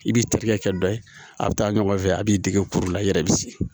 I b'i terikɛ dɔ ye a bɛ taa ɲɔgɔn fɛ a' b'i dege kuru la i yɛrɛ bɛ sigi